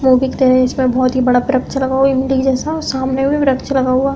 इसमें बहोत ही बड़ा व्रक्छ लगा हुआ इमली के जैसा और सामने भी व्रक्छ लगा हुआ।